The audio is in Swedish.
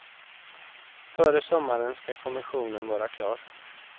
Före sommaren ska kommissionen vara klar.